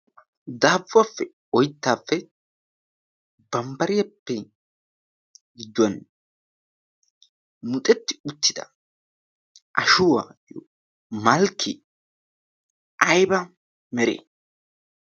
daabuwaappe oyttaappe bambbariyappe gidduwan muxetti uttida ashuwaayyo malkki ayba mere?